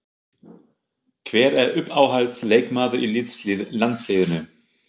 Hver er uppáhalds leikmaður í landsliðinu?